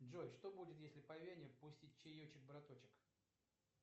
джой что будет если по вене пустить чаечек браточек